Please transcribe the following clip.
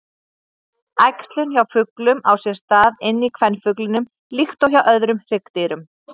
Æxlun hjá fuglum á sér stað inni í kvenfuglinum líkt og hjá öðrum hryggdýrum.